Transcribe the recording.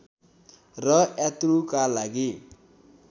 र यात्रुका लागि